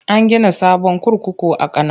An gina sabon kurkuku a Kano.